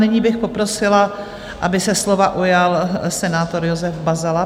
Nyní bych poprosila, aby se slova ujal senátor Josef Bazala.